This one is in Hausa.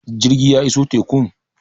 jirgi ya iso tekun?